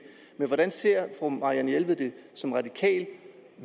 men hvordan ser fru marianne jelved som radikal